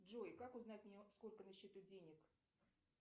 джой как узнать мне сколько на счету денег